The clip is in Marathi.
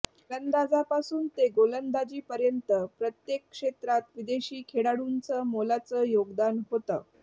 फलंदाजांपासून ते गोलंदाजीपर्यंत प्रत्येक क्षेत्रात विदेशी खेळाडूंच मोलाचं योगदान होतं